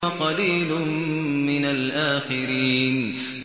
وَقَلِيلٌ مِّنَ الْآخِرِينَ